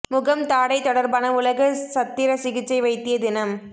முகம் தாடை தொடர்பான உலக சத்திர சிகிச்சை வைத்திய தினம்